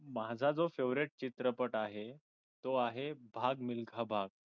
माझा जो favorite चित्रपट आहे तो आहे भाग मिल्खा भाग